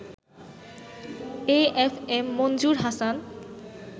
A F M Manzur Hasan